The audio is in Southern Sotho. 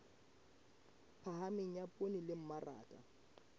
phahameng ya poone le mmaraka